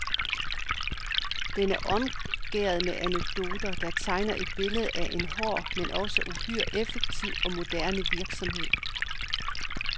Den er omgærdet med anekdoter, der tegner et billede af en hård, men også uhyre effektiv og moderne virksomhed.